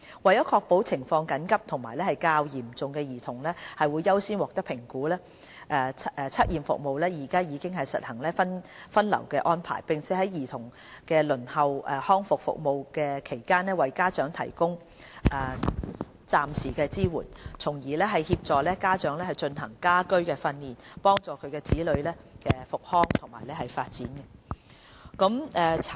為確保情況緊急和較嚴重的兒童會優先獲得評估，測驗服務現已實行分流安排，並在兒童輪候康復服務期間為家長提供暫時支援，從而協助家長進行家居訓練，幫助其子女康復和發展。